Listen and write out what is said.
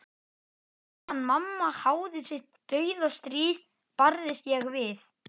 Sjóreknir björgunarbátar nyrðra, skotdrunur og eldbjarmi af hafi vestra.